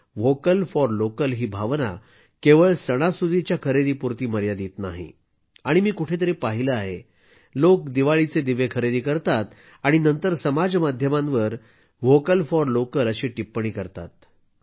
vocal for local ही भावना केवळ सणासुदीच्या खरेदीपुरती मर्यादित नाही आणि मी कुठेतरी पाहिलं आहेलोक दिवाळीचे दिवे खरेदी करतात आणि नंतर समाज माध्यमावर व्होकल फॉर लोकल अशी टिप्पणी टाकतात